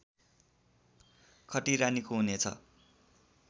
खटिरा निको हुनेछ